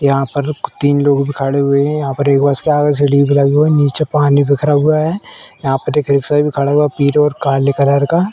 यहां पर तीन लोग खड़े हुए हैं। यहां पर एक बस लगा हुआ है एक लगी हुई है। नीचे पानी बिखरा हुआ है। यहां पे एक रिक्शा भी खड़ा हुआ है पीले और काले कलर का।